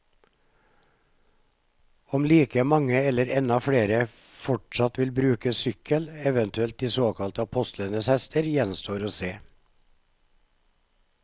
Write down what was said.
Om like mange eller enda flere fortsatt vil bruke sykkel, eventuelt de såkalte apostlenes hester, gjenstår å se.